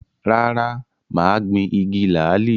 Rárá, mà á gbin “igi làálì”.